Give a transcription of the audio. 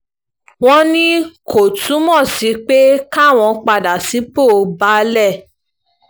wọ́n ní kò túmọ̀ sí pé káwọn padà sípò baálé